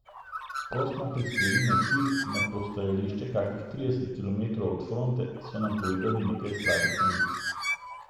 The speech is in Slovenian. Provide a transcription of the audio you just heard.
Ko smo prispeli na cilj, na postajališče kakih trideset kilometrov od fronte, so nam povedali nekaj slabih novic.